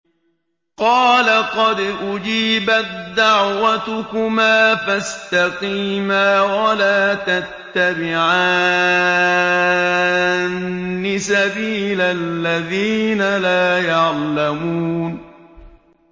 قَالَ قَدْ أُجِيبَت دَّعْوَتُكُمَا فَاسْتَقِيمَا وَلَا تَتَّبِعَانِّ سَبِيلَ الَّذِينَ لَا يَعْلَمُونَ